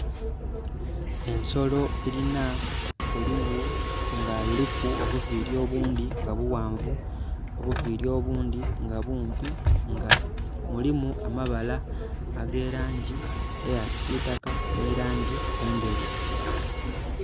Ensolo elina olughu nga luliku obuviiri obundhi nga bughanvu, obuviiri obundhi nga bumpi. Nga mulimu amabala ag'elaangi eya kisiitaka nhi laangi endheru.